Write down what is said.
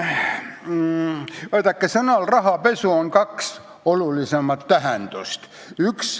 Vaadake, sõnal "rahapesu" on kaks olulisemat tähendust.